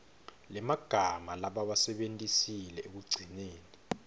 lemagama labawasebentisile ekugcineni